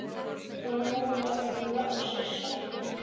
Og nú var hún loksins sofnuð.